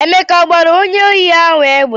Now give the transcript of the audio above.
Emeka a gbara onye ohi ahụ egbe?